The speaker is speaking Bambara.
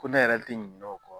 Ko ne yɛrɛ tɛ ɲinɛ o kɔ.